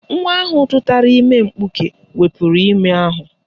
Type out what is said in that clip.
Nwa ahụ tụtara ime mkpuke wepuru ime ahụ